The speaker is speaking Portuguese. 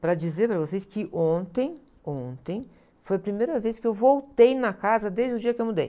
Para dizer para vocês que ontem, ontem, foi a primeira vez que eu voltei na casa desde o dia que eu mudei.